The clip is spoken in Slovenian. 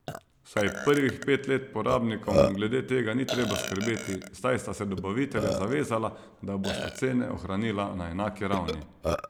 Vsaj prvih pet let porabnikom glede tega ni treba skrbeti, saj sta se dobavitelja zavezala, da bosta cene ohranila na enaki ravni.